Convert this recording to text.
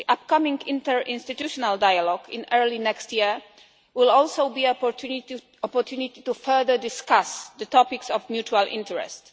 The upcoming interinstitutional dialogue early next year will also be an opportunity to further discuss the topics of mutual interest.